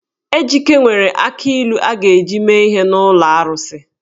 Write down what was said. Ejike nwere akị ilu a ga-eji mee ihe n’ụlọ arụsị.